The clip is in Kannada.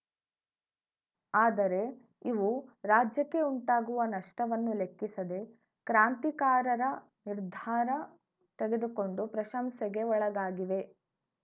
ಆದರೆ ಇವು ರಾಜ್ಯಕ್ಕೆ ಉಂಟಾಗುವ ನಷ್ಟವನ್ನೂ ಲೆಕ್ಕಿಸದೆ ಕ್ರಾಂತಿಕಾರರ ನಿರ್ಧಾರ ತೆಗೆದುಕೊಂಡು ಪ್ರಶಂಸೆಗೆ ಒಳಗಾಗಿವೆ